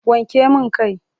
Wanke min kan!